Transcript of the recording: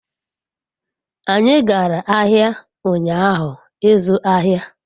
anyi gara ahia unyahu izu ahia